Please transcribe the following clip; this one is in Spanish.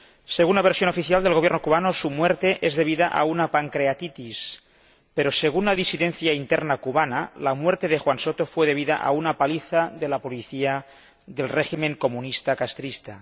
Según la versión oficial del Gobierno cubano, su muerte es debida a una pancreatitis, pero según la disidencia interna cubana, la muerte de Juan Soto fue debida a una paliza de la policía del régimen comunista castrista.